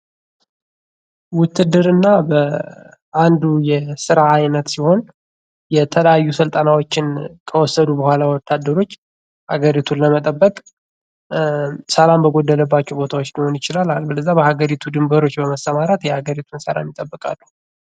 ውትድርና በአንዱ የስራ ዓይነት ሲሆን የተለያዩ ስልጠናዎችን ከወሰዱ ብኋላ ወታደሮች አገሪቱን ለመጠበቅ ሰላም በጎደለባቸው አካባቢዎች ሊሆን ይችላል። አለበለዚያ የሀገሪቱ ድንበሮች በመስማራት የሀገሪቱን ሰላም ጠብቃሉ።